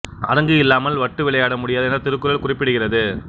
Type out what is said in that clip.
அரங்கு இல்லாமல் வட்டு விளையாட முடியாது எனத் திருக்குறள் குறிப்பிடுகிறது